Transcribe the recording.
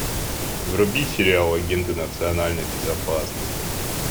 вруби сериал агенты национальной безопасности